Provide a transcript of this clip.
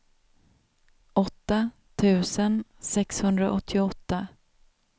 åtta tusen sexhundraåttioåtta